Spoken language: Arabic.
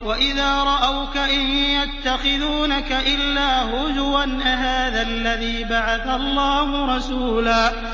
وَإِذَا رَأَوْكَ إِن يَتَّخِذُونَكَ إِلَّا هُزُوًا أَهَٰذَا الَّذِي بَعَثَ اللَّهُ رَسُولًا